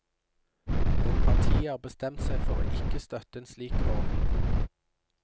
Og partiet har bestemt seg for ikke å støtte en slik ordning.